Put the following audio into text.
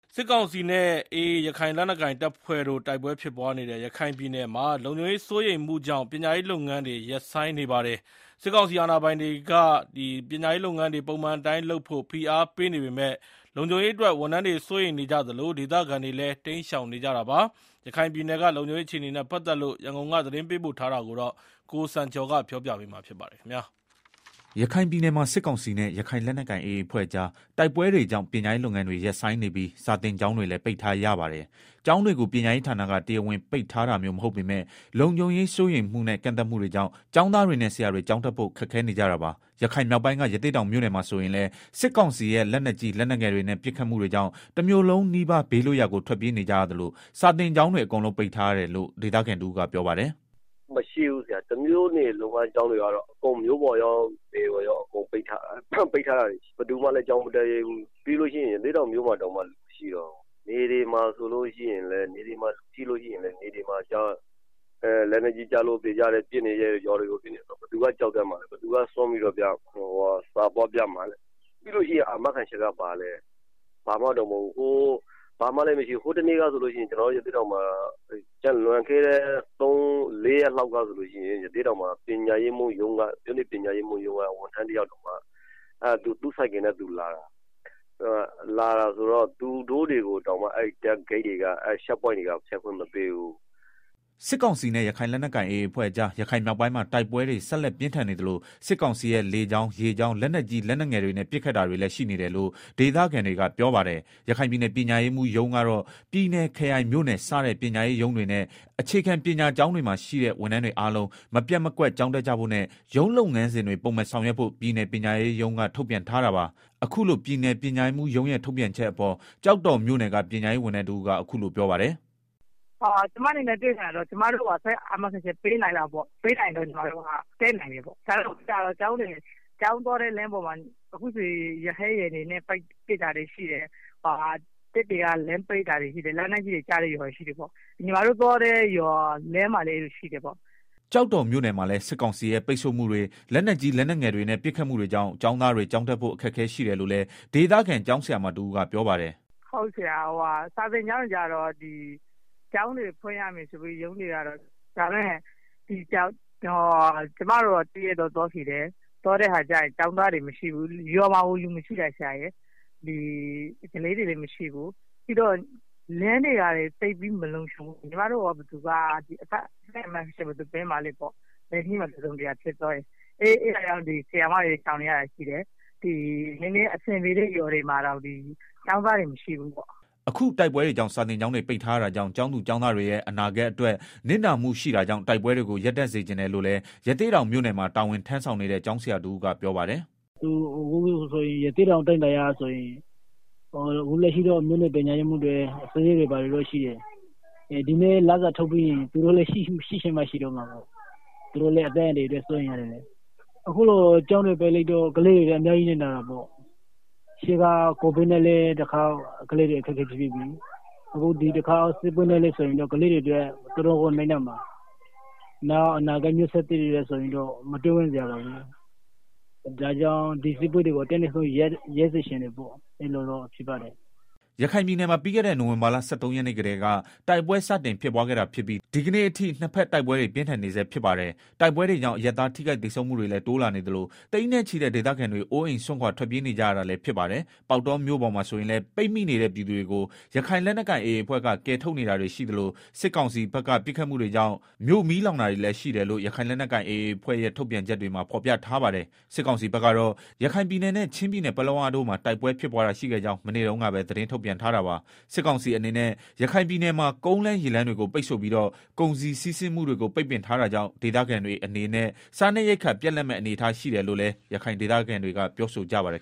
စစ်ကောင်စီနဲ့ AA ရခိုင်လက်နက်ကိုင် တပ်ဖွဲ့တို့ တိုက်ပွဲဖြစ်ပွားနေတဲ့ ရခိုင်ပြည်နယ်မှာ လုံခြုံရေးစိုးရိမ်မှုကြောင့် ပညာရေးလုပ်ငန်းတွေ ရပ်ဆိုင်းနေပါတယ်။ စစ်ကောင်စီ အာဏာပိုင်တွေက ပညာရေးလုပ်ငန်းတွေ ပုံမှန်အတိုင်းလုပ်ဖို့ ဖိအားပေးနေပေမဲ့ လုံခြုံရေးအတွက် ဝန်ထမ်းတွေ စိုးရိမ်နေကြသလို၊ ဒေသခံတွေလည်း တိမ်းရှောင်နေကြတာပါ။ ရခိုင်ပြည်နယ်က လုံခြုံရေးအခြေအနေတွေနဲ့ ပတ်သက်လို့ ရန်ကုန်က သတင်းပေးပို့ ထားတာကို ကိုစံကျော် ပြောပြပေးပါမယ်။ ရခိုင်ပြည်နယ်မှာ စစ်ကောင်စီနဲ့ ရခိုင်လက်နက်ကိုင် AA အဖွဲ့ကြား တိုက်ပွဲတွေကြောင့် ပညာရေးလုပ်ငန်းတွေ ရပ်ဆိုင်းနေပြီး စာသင်ကျောင်းတွေလည်း ပိတ်ထားရပါတယ်။ ကျောင်းတွေကို ပညာရေးဌာနက တရားဝင်ပိတ်ထားတာမျိုးမဟုတ်ပေမဲ့ လုံခြုံရေးစိုးရိမ်မှုနဲ့ ကန့်သတ်မှုတွေကြောင့် ကျောင်းသားတွေနဲ့ ဆရာတွေ ကျောင်းတက်ဖို့ခက်ခဲနေကြတာပါ။ ရခိုင်မြောက်ပိုင်းက ရသေ့တောင်မြို့နယ်မှာဆိုရင်လည်း စစ်ကောင်စီရဲ့ လက်နက်ကြီး လက်နက်ငယ်တွေနဲ့ ပစ်ခတ်မှုတွေကြောင့် တမြို့လုံးနီးပါး ဘေးလွတ်ရာကို ထွက်ပြေးနေကြရသလို စာသင်ကျောင်းတွေအကုန်လုံးပိတ်ထားရတယ်လို့ ဒေသခံတဦးကပြောပါတယ်။ “ တမြို့နယ်လုံးကကျောင်းတွေရော မြို့ပေါ်ရော နယ်ရော အကုန်လုံးက ကျောင်းတွေကို ပိတ်ထားရတယ်၊ ဘယ်သူမှလည်း ကျောင်းမတက်ရဲဘူး၊ ပြီးရင် ရသေ့တောင် မြို့ပေါ်မှာ တောင်မှ လူမရှိတော့ဘူး။ နယ်တွေမှာလည်း လက်နက်ကြီးကျလို့သေကြတယ် ပစ်နေကြ တယ်ဆိုတော့ ဘယ်သူက ကျောင်းတက်မှာလည်း ဘယ်သူက စွန့်ပြီးတော့ ကျောင်းသွားပြရဲ မှာလည်းပြီးတော့ ဘာအာမခံချက်မှလည်းမရှိဘူး ဟိုတနေ့ကဆိုရင်လည်း ရသေ့တောင်မြို့ နယ် ပညာရေးမှူးရုံးက ဝန်ထမ်းတယောက် သူ့ဆိုင်ကယ်နဲ့သူလာတာ သူတို့ကိုတောင်မှ အဲဒီ စစ်ဆေးရေးဂိတ်တွေက ဖြတ်ခွင့်မပေးဘူး။ ” စစ်ကောင်စီနဲ့ ရခိုင်လက်နက်ကိုင်AAအဖွဲ့ကြား ရခိုင်မြောက်ပိုင်းမှာ တိုက်ပွဲတွေ ဆက်လက် ပြင်းထန်နေသလို စစ်ကောင်စီရဲ့ လေကြောင်း ရေကြောင်း လက်နက်ကြီးလက်နက်ငယ်တွေနဲ့ ပစ်ခတ်တာတွေလည်း ရှိနေတယ်လို့ ဒေသခံတွေက ပြောပါတယ်။ ရခိုင်ပြည်နယ် ပညာရေးမှူးရုံးကတော့ ပြည်နယ်၊ ခရိုင် မြို့နယ်စတဲ့ ပညာရေးရုံးတွေနဲ့ အခြေခံပညာကျောင်းတွေမှာ ရှိတဲ့ ဝန်ထမ်းတွေအားလုံး မပျက်မကွက် ကျောင်းတက်ကြဖို့နဲ့ ရုံးလုပ်ငန်းစဉ်တွေပုံမှန်ဆောင်ရွက်ဖို့ ပြည်နယ်ပညာရေးမှူးရုံး က ထုတ်ပြန်ထားတာပါ။ အခုလို ပြည်နယ်ပညာရေးမှူးရုံးရဲ့ထုတ်ပြန်ချက်အပေါ် ကျောက်တော်မြို့နယ် ကပညာရေး ဝန်ထမ်းတဦးကအခုလိုပြောပါတယ်။ “ ကျမတို့ပြောချင်တာက ကျမတို့ကို အသက်အာမခံချက်ပေးနိုင်လား ပေးနိုင်ရင်တော့ ကျမတို့ တက်နိုင်တယ်၊ နောက်တခုကတော့ ကျောင်းသွားတဲ့ လမ်းတွေမှာ ရဟတ်ယာဉ်တွေနဲ့ ပစ် တာတွေရှိတယ်။ တပ်တွေက လမ်းပိတ်တာတွေရှိတယ် လက်နက်ကြီးတွေ ကျတဲ့ရွာတွေ ရှိ တယ်ပေါ့၊ ညီမတို့သွားတဲ့ ရွာလမ်းမှာလည်းရှိတယ်ပေါ့” ကျောက်တော်မြို့နယ်မှာလည်း စစ်ကောင်စီရဲ့ ပိတ်ဆို့မှုတွေ လက်နက်ကြီး လက်နက်ငယ်တွေနဲ့ ပစ်ခတ်မှုတွေကြောင့် ကျောင်းသားတွေ ကျောင်းတက်ဖို့ အခက်အခဲရှိတယ်လို့လည်း ဒေသခံ ကျောင်းဆရာမတဦးကပြောပါတယ်။ “ စာသင်ကျောင်းတွေကတော့ ကျောင်းတွေဖွင့်ရမယ်ဆိုပြီးတော့ ရုံးတွေက ပြောလာ တာရှိတယ်။ဒါပေမယ့် ကျမတို့ တရက်တော့ သွားခဲ့တယ် ကျောင်းသားတွေမရှိဘူး ရွာမှာကို လူမရှိတာ။ ကလေးတွေလည်းမရှိဘူး ပြီးတော့ လမ်းတွေကလည်း မလုံခြုံဘူး၊ အသက် အာမခံချက်ဘယ်သူပေးမှာလဲပေါ့၊ လမ်းတစုံတရာဖြစ်သွားရင် အဲတာကြောင့် ဆရာမတွေ ရှောင်နေရတာရှိတယ်၊ နည်းနည်းအဆင်ပြေတဲ့ ရွာတွေမှာတောင် ကျောင်းသားတွေ မရှိဘူးပေါ့။” အခု တိုက်ပွဲတွေကြောင့် စာသင်ကျောင်းတွေပိတ်ထားရတာကြောင့် ကျောင်းသူ ကျောင်း တွေရဲ့ အနာဂတ်အတွက် နစ်နာမှုရှိတာကြောင့် တိုက်ပွဲတွေကို ရပ်တန့်စေချင် တယ်လို့လည်း ရသေ့တောင်မြို့နယ်မှာ တာဝန်ထမ်းဆောင်နေတဲ့ ကျောင်းဆရာ တဦးက ပြောပါတယ်။ “ ရသေ့တောင် အတိုင်းအတာအရဆိုရင် အခုလက်ရှိတော့ မြို့နယ်ပညာရေးမှူးတွေ ဘာတွေရှိတယ်၊ ဒီနေ့ လစာထုတ်ပြီးရင် သူတို့လည်း ရှိချင်မှရှိတော့မယ် သူတို့လည်း အသက်အန္တရာယ်အရ စိုးရိမ်ရတယ်လေ၊ အခုလို ကျောင်းတွေ ပိတ်ထားရတော့ ကလေး တွေအတွက် အများကြီးနစ်နာတာပေါ့၊ ကိုဗစ်နဲ့လည်းတခေါက် ကလေးတွေ အခက် အခဲဖြစ်ပြီးပြီ အခုဒီတခေါက် စစ်ပွဲနဲ့ဆိုရင်တော့ ကလေးတွေလည်း တော်တော်ကို နစ်နာမှာ အနာဂတ်မျိုးဆက်သစ်တွေအတွက် မတွေးဝံ့စရာပါပဲ ဒါ့ကြောင့် ဒီတိုက်ပွဲတွေကို အတတ် နိုင်ဆုံး ရပ်စေချင်တယ်ပေါ့။” ရခိုင်ပြည်နယ်မှာ ပြီးခဲ့တဲ့ နိုင်ဝင်ဘာလ ၁၃ရက်နေ့ကတည်းက စတင်တိုက်ပွဲ ဖြစ်ပွားခဲ့ တာဖြစ်ပြီး ဒီကနေ့ အထိနှစ်ဖက်တိုက်ပွဲတွေ ပြင်းထန်နေဆဲ ဖြစ်ပါတယ်။ တိုက်ပွဲတွေကြောင့် အရပ်သားထိခိုက်သေဆုံးမှုတွေလည်း တိုးလာနေသလို သိန်းနဲ့ ချီတဲ့ ဒေသခံတွေ အိုးအိမ်စွန့်ခွာထွက်ပြေးနေကြရတာလည်းဖြစ်ပါတယ်။ ပေါက်တောမြို့ပေါ်မှာဆိုရင်လည်း ပိတ်မိနေတဲ့ ပြည်သူတွေကို ရခိုင်လက်နက်ကိုင်AAအဖွဲ့က ကယ်ထုတ်နေတာတွေရှိသလို စစ်ကောင်စီဖက်က ပစ်ခတ်မှုတွေကြောင့် မြို့မီးလောင်တာတွေ လည်းရှိ တယ်လို့ ရခိုင်လက်နက်ကိုင်AAအဖွဲ့ရဲ့ ထုတ်ပြန်ချက် မှာဖော်ပြထားပါတယ်။ စစ်ကောင်စီဘက်ကတော့ ရခိုင်ပြည်နယ်နဲ့ ချင်းပြည်နယ် ပလက်ဝတို့မှာ တိုက်ပွဲဖြစ်ပွားတာရှိခဲ့ကြောင်း မနေ့တုန်းကပဲ သတင်းထုတ်ပြန်ထားတာပါ။စစ်ကောင်စီအနေနဲ့ ရခိုင်ပြည်နယ်မှာ ကုန်လမ်းရေလမ်းတွေကို ပိတ်ဆို့ပြီးတော့ ကုန်စည်စီးဆင်းမှုတွေကို ပိတ်ပင်ထားတာကြောင့် ဒေသခံတွေအနေနဲ့ စားနပ်ရိက္ခာပြတ် လပ်မယ့်အနေအထားရှိနေတယ်လို့လည်း ရခိုင်ဒေသခံတွေကပြောဆိုကြပါတယ်